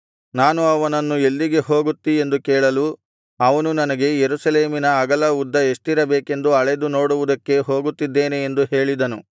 ನಾನು ಅವನನ್ನು ಎಲ್ಲಿಗೆ ಹೋಗುತ್ತಿ ಎಂದು ಕೇಳಲು ಅವನು ನನಗೆ ಯೆರೂಸಲೇಮಿನ ಅಗಲ ಉದ್ದ ಎಷ್ಟಿರಬೇಕೆಂದು ಅಳೆದು ನೋಡುವುದಕ್ಕೆ ಹೋಗುತ್ತಿದ್ದೇನೆ ಎಂದು ಹೇಳಿದನು